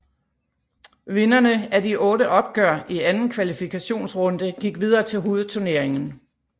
Vinderne af de otte opgør i anden kvalifikationsrunde gik videre til hovedturneringen